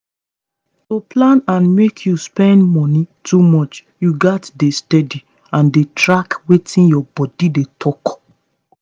to plan and make you spend money too much you gats dey steady dey track wetin your body dey talk.